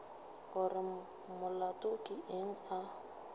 gore molato ke eng a